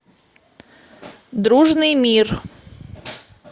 дружный мир